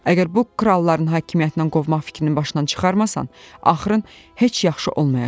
Əgər bu kralların hakimiyyətindən qovmaq fikrini başından çıxarmasan, axırın heç yaxşı olmayacaq.